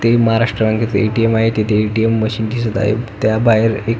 ते महाराष्ट्र बँकेच ए.टी.एम. आहे तिथे ए.टी.एम. मशीन दिसत आहे त्या बाहेर एक--